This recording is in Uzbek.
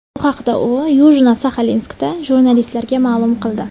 Bu haqda u Yujno-Saxalinskda jurnalistlarga ma’lum qildi.